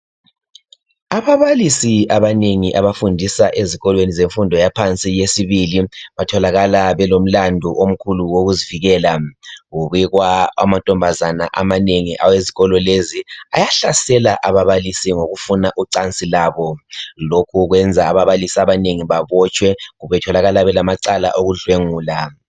Ababalisi abanengi abafundisa ezikolweni zemfundo yaphansi yesibili, batholakala belomlandu omkhulu wokuzivikela. Kubikwa amantombazana amanengi awezikolo lezi ayahlasela ababalisi, ngokufuna ucansi labo. Lokhu kwenza ababalisi abanengi, babotshwe. Betholakala belamacala okudlwengula.